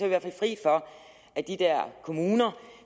i hvert fald fri for at de der kommuner